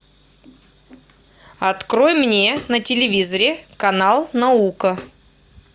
открой мне на телевизоре канал наука